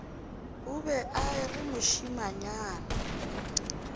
o be a re mošemanyana